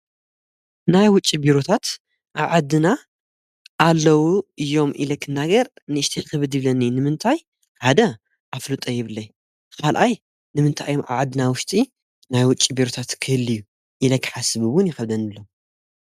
ናይ ውጭ ቢሩታት ኣዓድና ኣለዉ እዮም ኢለክናገር ንእሽቲ ኽብድ ብለኒ ንምንታይ ሓደ ኣፍሉ ጠይብለይ ኻልኣይ ንምንታይ ዮም ዓዓድና ውሽጢ ናይ ውጭ ቢሩታት ክህልእዩ ኢለ ክሓስብውን ይኸብደንብሎ።